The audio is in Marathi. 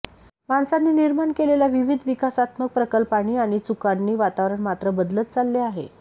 माणसाने निर्माण केलेल्या विविध विकासात्मक प्रकल्पांनी आणि चुकांनी वातावरण मात्र बदलत चालले आहे